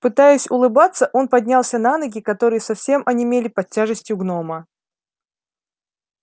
пытаясь улыбаться он поднялся на ноги которые совсем онемели под тяжестью гнома